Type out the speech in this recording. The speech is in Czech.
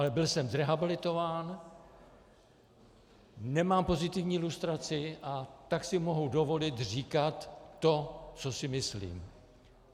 Ale byl jsem zrehabilitován, nemám pozitivní lustraci, a tak si mohu dovolit říkat to, co si myslím.